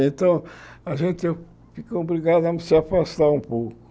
Então, a gente fica obrigado a se afastar um pouco.